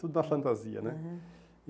Tudo na fantasia, né? Aham.